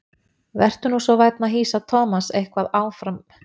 Vertu nú svo vænn að hýsa Thomas eitthvað fram á nýja árið.